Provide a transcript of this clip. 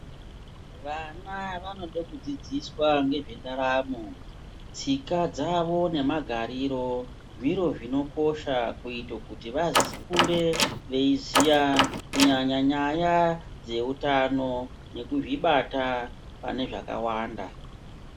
Vana vanode kudzidziswa ngezventaramo, tsika dzavo nemagariro, zviro zvinokosha kuite kuti vakure veiziya kunyanya nyaya dzeutano nekuzvibata pane zvakawanda.